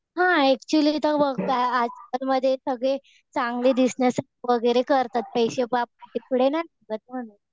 हा एक्चुअली तिथं वर्क काय आतमध्ये सगळे चांगले दिसण्यासाठी वगैरे करतात. पैशे